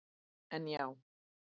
En já.